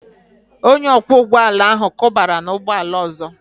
Onye ọkwọ ụgbọ ala ahụ kụbara n'ụgbọ ala ọzọ